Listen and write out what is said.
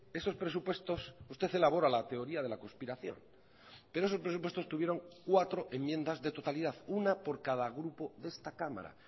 esos presupuestos usted elabora la teoría de la conspiración pero esos presupuestos tuvieron cuatro enmiendas de totalidad una por cada grupo de esta cámara